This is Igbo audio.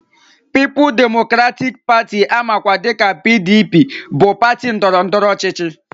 Pịịpụs demokratịk Patị amakwa dịka PDP bụ patị ndọrọndọrọ ọchịchị